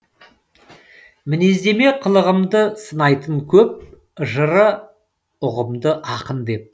мінездеме қылығымды сынайтын көп жыры ұғымды ақын деп